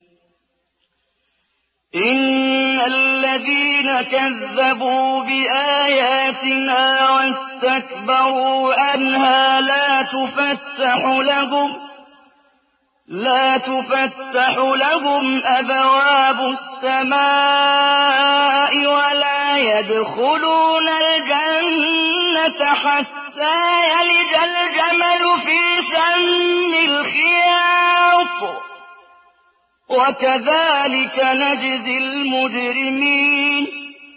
إِنَّ الَّذِينَ كَذَّبُوا بِآيَاتِنَا وَاسْتَكْبَرُوا عَنْهَا لَا تُفَتَّحُ لَهُمْ أَبْوَابُ السَّمَاءِ وَلَا يَدْخُلُونَ الْجَنَّةَ حَتَّىٰ يَلِجَ الْجَمَلُ فِي سَمِّ الْخِيَاطِ ۚ وَكَذَٰلِكَ نَجْزِي الْمُجْرِمِينَ